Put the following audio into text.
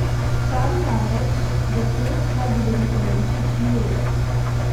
Pravi namreč, da to, kar govori Klemenčič, ni res.